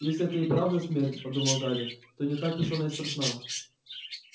если это и правда смерть подумал гарри то не так уж она и страшна